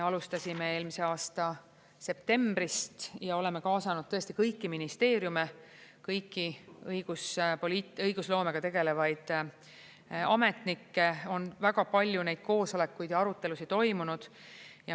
Alustasime eelmise aasta septembrist ja oleme kaasanud tõesti kõiki ministeeriume, kõiki õigusloomega tegelevaid ametnikke, on väga palju koosolekuid ja arutelusid toimunud.